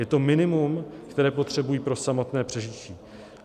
Je to minimum, které potřebují pro samotné přežití.